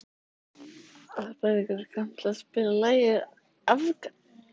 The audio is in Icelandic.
Aðalbergur, kanntu að spila lagið „Afgan“?